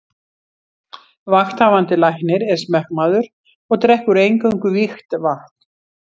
Vakthafandi Læknir er smekkmaður og drekkur eingöngu vígt vatn.